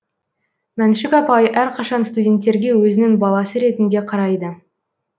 мәншүк апай әрқашан студенттерге өзінің баласы ретінде қарайды